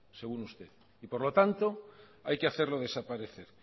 según usted y por lo tanto hay que hacerlo desaparecer